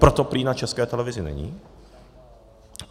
Proto prý na České televizi není.